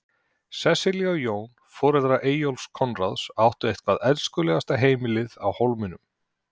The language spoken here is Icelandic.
Sesselja og Jón, foreldrar Eyjólfs Konráðs, áttu eitthvert elskulegasta heimilið í Hólminum.